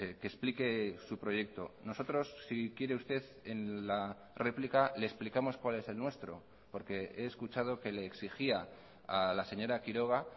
que explique su proyecto nosotros si quiere usted en la réplica le explicamos cuál es el nuestro porque he escuchado que le exigía a la señora quiroga